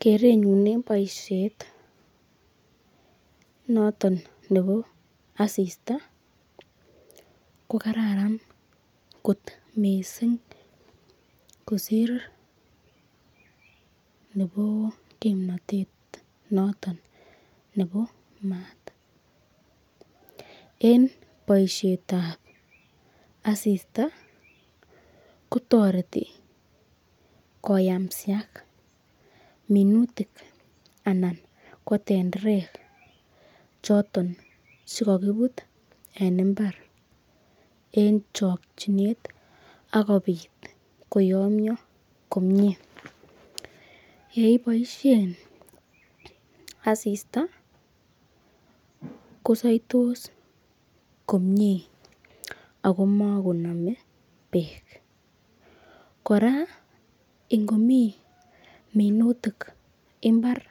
Kerneyn en boisiet noton nebo asista ko kararan kot mising kosir nebo kimnatet noton nebo maat en boisiet ab asista kotoreti koyamsiak minutik anan ko tenderek choton che kogibut en mbar en chokinet ak kobit koyomyo komye. Ye iboisien asista kosoitos komie ago magonome beek. Kora ingomi minutik mbara